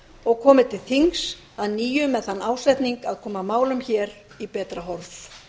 og komi til þings að nýju með þann ásetning að koma málum hér í betra horf